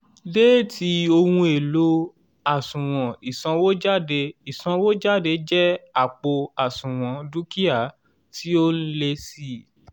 déétì ohun èlò àṣùwọ̀n ìsànwójáde ìsanwówọlé jẹ́ àpò àṣùwọ̀n dúkìá tí ó n lé sí